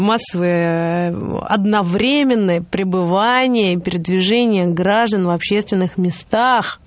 массовое одновременное пребывание и передвижение граждан в общественных местах